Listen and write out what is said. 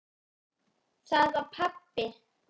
Það var pabbi!